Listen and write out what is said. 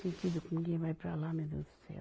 Sentido como quem vai para lá, meu Deus do céu.